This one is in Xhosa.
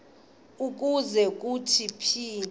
ukuze kuthi phithi